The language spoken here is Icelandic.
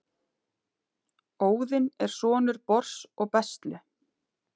óðinn er sonur bors og bestlu